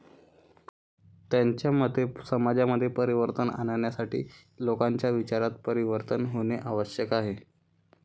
त्यांच्या मते समाजामध्ये परिवर्तन आणण्यासाठी लोकांच्या विचारांत परिवर्तन होणे आवश्यक आहे.